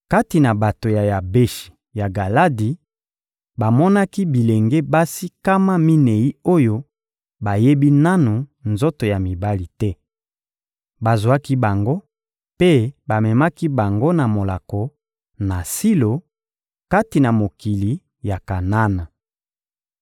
Kati na bato ya Yabeshi ya Galadi, bamonaki bilenge basi nkama minei oyo bayebi nanu nzoto ya mibali te; bazwaki bango mpe bamemaki bango na molako, na Silo, kati na mokili ya Kanana.